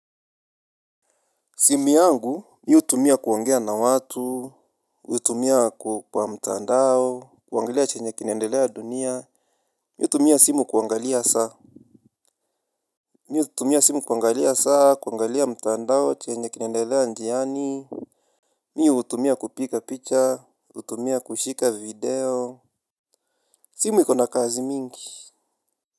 Simu yangu mimi hutumia kuongea na watu, hutumia kwa mtandao, kuangalia chenye kinaendelea dunia mimi hutumia simu kuangalia saa mimi hutumia simu kuangalia saa kuangalia mtandao chenye kinaendelea njiani mimi hutumia kupiga picha hutumia kushika video simu iko na kazi mingi.